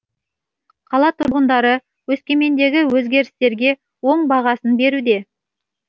қала түрғындары өскемендегі өзгерістерге оң бағасын беруде